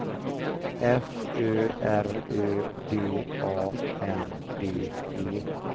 F Ö R Ö D A N D E